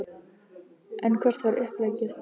En hvert var uppleggið?